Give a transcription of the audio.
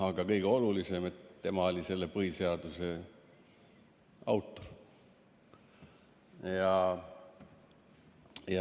Aga kõige olulisem, et tema oli põhiseaduse autor.